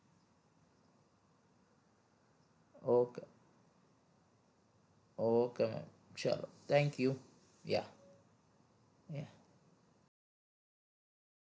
okay okay ma'am ચલો thank you yeah